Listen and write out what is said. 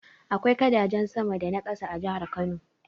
Akwai gadajen sama da na ƙasa a jihar Kano.